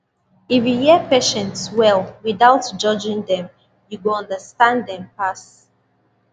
if you hear patient well without judging dem you go understand dem pass